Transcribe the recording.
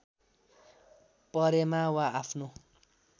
परेमा वा आफ्नो